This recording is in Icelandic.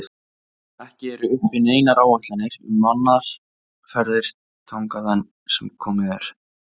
Ekki eru uppi neinar áætlanir um mannaðar ferðir þangað enn sem komið er.